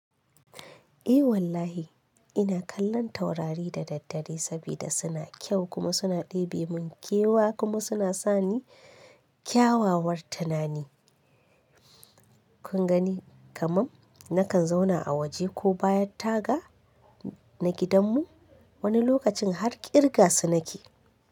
Eh wallahi ina kallon taurari da daddare saboda suna kyau kuma suna ɗebe mun kewa kuma suna sani kyawawar tunani. Kun gani kamar nakan zauna a waje ko bayan taga na gidanmu wani lokacin har ƙirga su nake.